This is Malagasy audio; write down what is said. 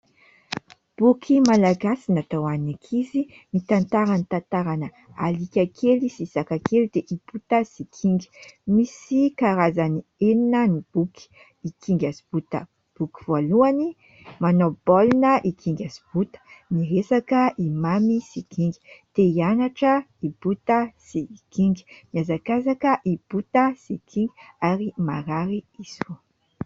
Boky malagasy natao ho an'ny ankizy, mitantara ny tantarana alika kely sy saka kely dia i Bota sy i Kinga. Misy karazany enina ny boky : "I Kinga Sy i Bota, boky voalohany", "Manao baolina i Kinga sy i Bota", "Miresaka i Mamy sy i Kinga", "Te hianatra i Bota sy i Kinga", "Miazakazaka i Bota sy i Kinga" ary "Marary i Zo".